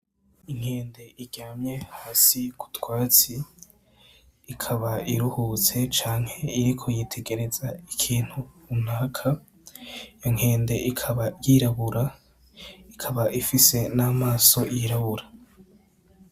Inkende iryamye hasi k'utwatsi, ikaba iruhutse canke iriko yitegereza ikintu runaka. Inkende ikaba y'irabura, ikaba ifise n'amaso y'irabura.